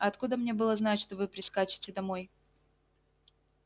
а откуда мне было знать что вы прискачете домой